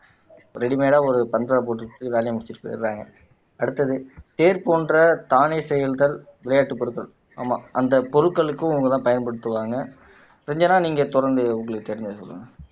ரெடிமேடா ஒரு பந்தல போட்டுக்கிட்டு வேலையை முடிச்சிட்டு போயிடுறாங்க அடுத்தது தேர் போன்ற தானே செயல்கள் விளையாட்டு பொருட்கள் ஆமாம் அந்த பொருட்களுக்கும் பயன்படுத்துவாங்க ரஞ்சனா நீங்க தொடர்ந்து உங்களுக்கு தெரிஞ்சதை சொல்லுங்க